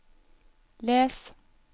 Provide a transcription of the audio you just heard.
les